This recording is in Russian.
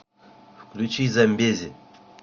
включи замбези